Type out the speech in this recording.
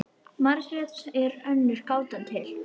Margrét er önnur gátan til.